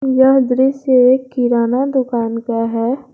यह दृश्य एक किराना दुकान का है।